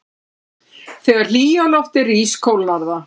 Þegar hlýja loftið rís kólnar það.